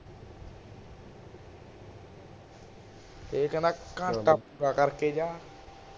ਇਹ ਕਹਿੰਦਾ ਘੰਟਾ ਪੂਰਾ ਕਰ ਕੇ ਜਾ